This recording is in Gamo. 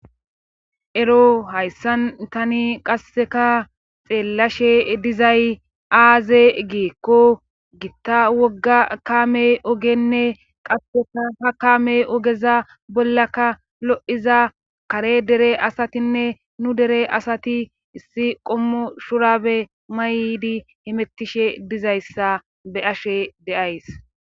Ero hayssan tani qasseka xeellashe dizay aaze giikko gitta wogga kaamey ogenne qasseka ha kaame ogeza bollakka lo'iza kare dere asatinne nu dere asati issi qommo shurabe maydi hemettishe dizayssa be7ashe de'as.